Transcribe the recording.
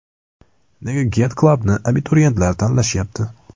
Nega Get Club ’ni abituriyentlar tanlashyapti?